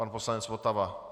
Pan poslanec Votava.